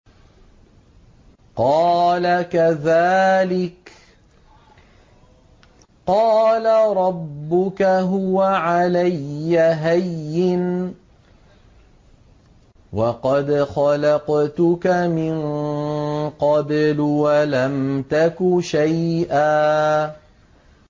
قَالَ كَذَٰلِكَ قَالَ رَبُّكَ هُوَ عَلَيَّ هَيِّنٌ وَقَدْ خَلَقْتُكَ مِن قَبْلُ وَلَمْ تَكُ شَيْئًا